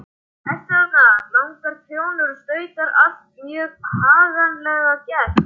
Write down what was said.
Eru þarna langar trjónur og stautar, allt mjög haganlega gert.